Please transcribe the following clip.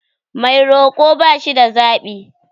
Mai roko ba shida zaɓi.